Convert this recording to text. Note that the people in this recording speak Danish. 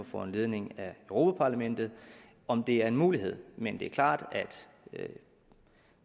foranledning af europa parlamentet om det er en mulighed men det er klart at